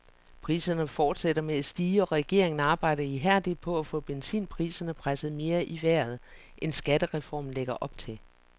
Priserne fortsætter med at stige og regeringen arbejder ihærdigt på at få benzinpriserne presset mere i vejret, end skattereformen lægger op til.